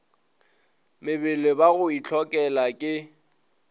mebele ba go itlhokela ke